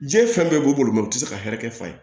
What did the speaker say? Diɲɛ fɛn bɛɛ b'u bolo u tɛ se ka hɛrɛ kɛ fa ye